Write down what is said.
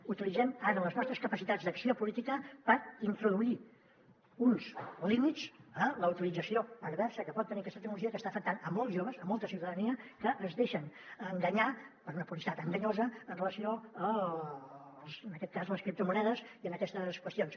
utilitzem ara les nostres capacitats d’acció política per introduir uns límits a la utilització perversa que pot tenir aquesta tecnologia que està afectant molts joves molta ciutadania que es deixen enganyar per una publicitat enganyosa amb relació a en aquest cas les criptomonedes i a aquestes qüestions